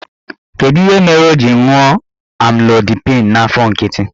Kedụ ihe mere o ji ṅụọ Amlodipịn n'afọ nkịtị?